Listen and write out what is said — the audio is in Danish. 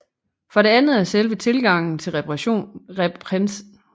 For det andet er selve tilgangen til repræsentationsteori mangeartet